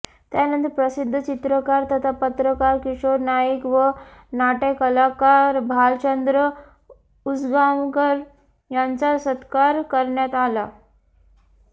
त्यानंतर प्रसिध्द चित्रकार तथा पत्रकार किशोर नाईक व नाटय़कलाकार भालचंद्र उसगांवकर यांचा सत्कार करण्यात आला